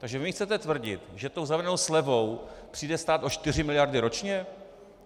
Takže vy mi chcete tvrdit, že tou zavedenou slevou přijde stát o 4 miliardy ročně?